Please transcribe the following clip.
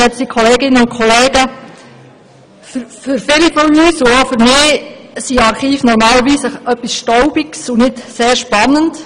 Für viele von uns und auch für mich sind Archive normalerweise etwas Staubiges, und nicht sehr spannend.